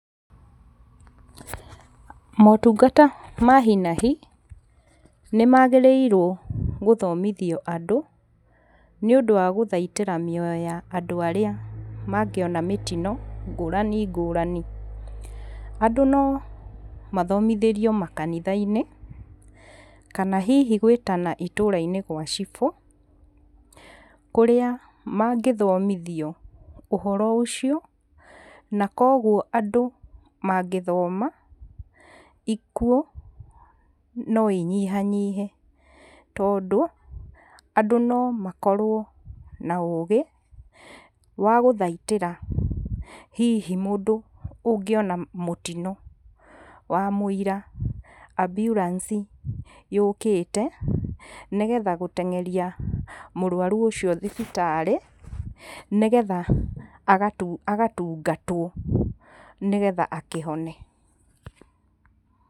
Motungata ma hi na hi nĩ magĩrĩirwo gũthomithio andũ nĩ ũndũ wa gũthaitĩra mĩoyo ya andũ arĩa magĩona mĩtino ngũrani ngũrani. Andũ no mathomithĩrio makanitha-inĩ kana hihi gwĩtana itũra-inĩ gwa cibũ, kũrĩa magĩthomithio ũhoro ũcio. Na koguo andũ mangĩthoma, ikuũ no inyihanyihe, tondũ andũ no makorwo na ũũgĩ wa gũthaitĩra hihi mũndũ ũngĩona mũtino wamũira ambulance yũkĩte. Nĩgetha gũtengeria mũrwaru ũcio thibitar,ĩ nĩgetha agatungatwo, nĩgetha akĩhone.